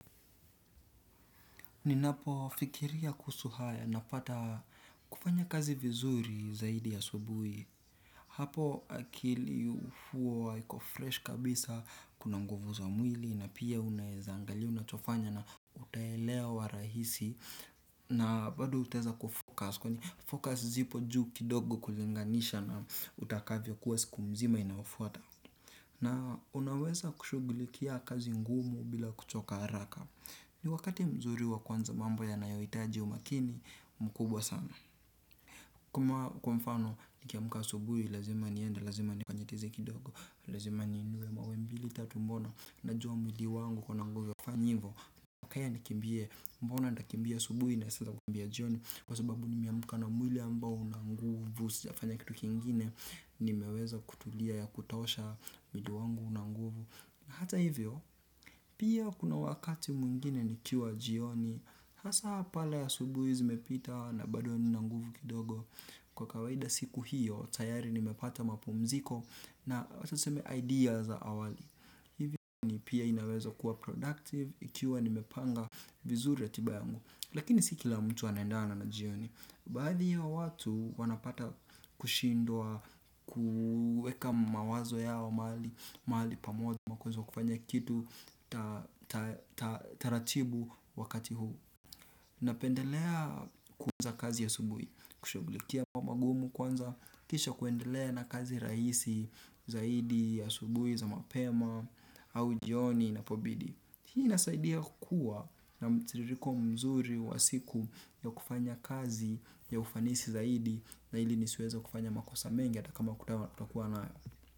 Ninapofikiria kuhusu haya napata kufanya kazi vizuri zaidi asubuhi. Hapo akili huwa iko fresh kabisa, kuna nguvu za mwili na pia unaweza angalia, unachofanya na utaelewa rahisi. Na bado utaweza kufocus. Kwenye focus zipo juu kidogo kulinganisha na utakavyokuwa siku mzima inayofuata. Na unaweza kushughulikia kazi ngumu bila kuchoka haraka. Ni wakati mzuri wa kuanza mambo yanayoitaji umakini mkubwa sana. Kuma kwa mfano nikiamka asubuhi lazima niende, lazima nifanye tizi kidogo. Lazima niinue mawe mbili tatu. Mbona najua mwili wangu uko na nguvu ya kufanya hivo. Kaya nikimbie. Mbona nakimbia asubuhi na si kukimbia jioni? Kwa sababu nimeamka na mwili ambao una nguvu sijafanya kitu kingine. Nimeweza kutulia ya kutosha mwili wangu una nguvu. Hata hivyo, pia kuna wakati mwingine nikiwa jioni. Hasa pale asubuhi zimepita na bado nina nguvu kidogo. Kwa kawaida siku hiyo, tayari nimepata mapumziko. Na sasa idea za awali hivyo ni pia inaweza kuwa productive, ikiwa nimepanga vizuri ratiba yangu. Lakini si kila mtu anendana na jioni. Baadhi ya watu wanapata kushindwa kuweka mawazo yao mahali pamoja na kuweza kufanya kitu. Taratibu wakati huu. Napendelea kuanza kazi asubuhi, kushugulikia kwa magumu kwanza, kisha kuendelea na kazi raisi zaidi ya asubuhi za mapema au jioni inapobidi. Hii inasaidia kuwa na mtiririko mzuri wa siku ya kufanya kazi ya ufanisi zaidi na ili nisiweze kufanya makosa mengi ata kama kutakuwa nayo.